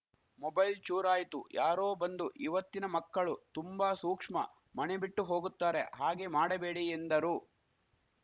mobile ಚೂರಾಯಿತು ಯಾರೋ ಬಂದು ಇವತ್ತಿನ ಮಕ್ಕಳು ತುಂಬಾ ಸೂಕ್ಷ್ಮ ಮಣೆ ಬಿಟ್ಟು ಹೋಗುತ್ತಾರೆ ಹಾಗೆ ಮಾಡಬೇಡಿ ಎಂದರು